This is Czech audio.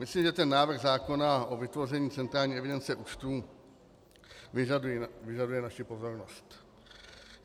Myslím, že ten návrh zákona o vytvoření centrální evidence účtů vyžaduje naši pozornost.